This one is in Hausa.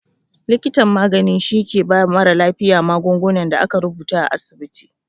Likitan magani shi ke ba mara lafiya magungunan da aka rubuta a asibiti